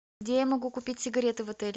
где я могу купить сигареты в отеле